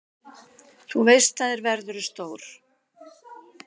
Þú veist það, er verðurðu stór.